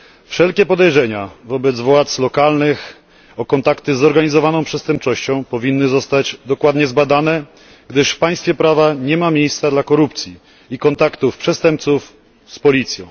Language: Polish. Wszelkie podejrzenia wobec władz lokalnych o kontakty ze zorganizowaną przestępczością powinny zostać dokładnie zbadane, gdyż w państwie prawa nie ma miejsca dla korupcji i kontaktów przestępców z policją.